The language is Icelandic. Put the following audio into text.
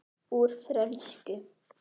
Úr frönsku